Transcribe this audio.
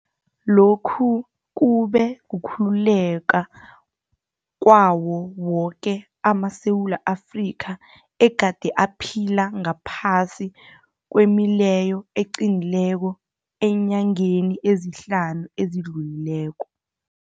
Lokhu kube kukhululeka kwawo woke amaSewula Afrika egade aphila ngaphasi kwemileyo eqinileko eenyangeni ezihlanu ezidlulileko.